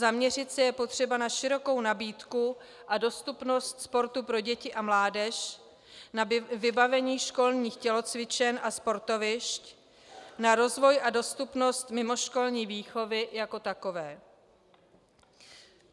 Zaměřit se je potřeba na širokou nabídku a dostupnost sportu pro děti a mládež, na vybavení školních tělocvičen a sportovišť, na rozvoj a dostupnost mimoškolní výchovy jako takové.